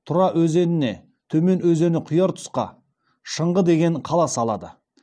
тұра өзеніне төмен өзені құяр тұсқа шыңғы деген қала салады